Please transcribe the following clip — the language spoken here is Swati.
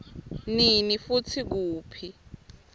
nini futsi kuphi